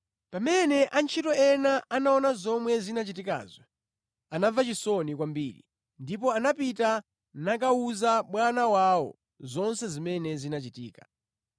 Pamene antchito ena anaona zomwe zinachitikazo, anamva chisoni kwambiri ndipo anapita nakawuza bwana wawo zonse zimene zinachitika.